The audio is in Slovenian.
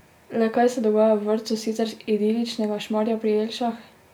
Le kaj se dogaja v vrtcu sicer idiličnega Šmarja pri Jelšah?